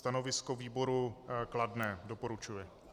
Stanovisko výboru kladné, doporučuje.